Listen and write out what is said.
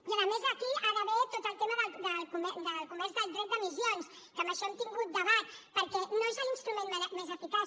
i a més aquí hi ha d’haver tot el tema del comerç del dret d’emissions que en això hem tingut debat perquè no és l’instrument més eficaç